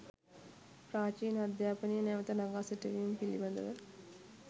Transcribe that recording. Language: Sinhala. ප්‍රාචීන අධ්‍යාපනය නැවත නඟා සිටුවීම පිළිබඳව